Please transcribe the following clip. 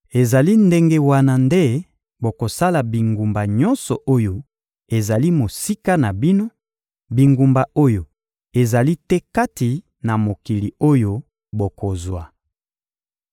Ezali ndenge wana nde bokosala bingumba nyonso oyo ezali mosika na bino, bingumba oyo ezali te kati na mokili oyo bokozwa.